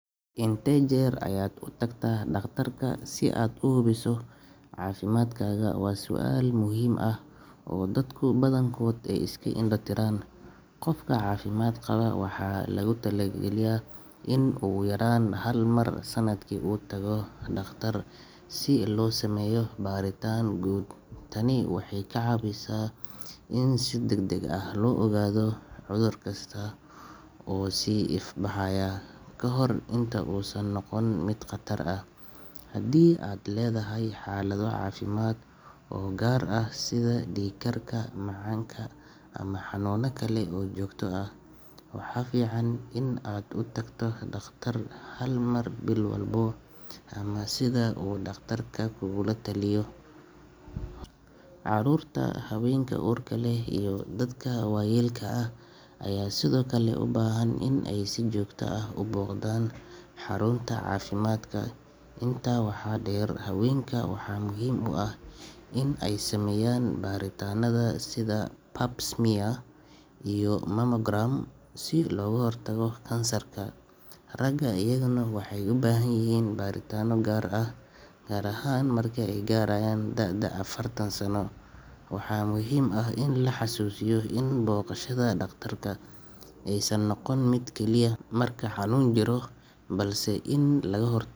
Intee jeer ayaad u tagtaa dhakhtarka si aad u hubiso caafimaadkaaga waa su’aal muhiim ah oo dadka badankood ay iska indho-tiraan. Qofka caafimaad qaba waxaa lagu taliyaa in ugu yaraan hal mar sanadkii uu u tago dhakhtar si loo sameeyo baaritaan guud. Tani waxay ka caawisaa in si degdeg ah loo ogaado cudur kasta oo soo ifbaxaya ka hor inta uusan noqon mid khatar ah. Haddii aad leedahay xaalado caafimaad oo gaar ah sida dhiigkarka, macaanka ama xanuunno kale oo joogto ah, waxaa fiican inaad u tagto dhakhtar hal mar bil walba ama sida uu dhakhtarkaaga kugula taliyo. Caruurta, haweenka uurka leh iyo dadka waayeelka ah ayaa sidoo kale u baahan in ay si joogto ah u booqdaan xarunta caafimaadka. Intaa waxaa dheer, haweenka waxaa muhiim u ah in ay sameeyaan baaritaanada sida pap smear iyo mammogram si looga hortago kansarka. Ragga iyaguna waxay u baahan yihiin baaritaano gaar ah gaar ahaan marka ay gaaraan da’da afartan sano. Waxaa muhiim ah in la is xasuusiyo in booqashada dhakhtarka aysan noqon mid keliya marka xanuun jiro, balse in laga hor.